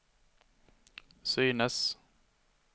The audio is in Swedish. synes